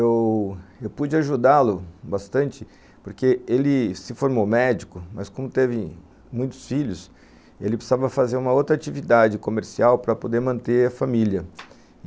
Eu pude ajudá-lo bastante porque ele se formou médico, mas como teve muitos filhos, ele precisava fazer uma outra atividade comercial para poder manter a família.